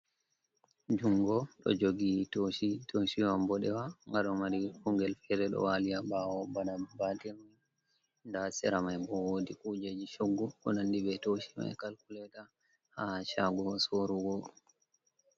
Jungo ɗo jogi toshi toshi man mboɗewa gado mari kungel fere ɗo wali ha ɓawo bana batir nda hasera mai bo wodi kujeji shoggu konandi be toshi mai kalkuleto ha chago sorugo.